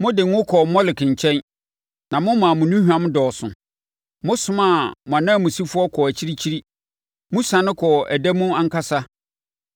Mode ngo kɔɔ Molek nkyɛn na momaa mo nnuhwam dɔɔso. Mosomaa mo ananmusifoɔ kɔɔ akyirikyiri; mo siane kɔɔ ɛda mu ankasa!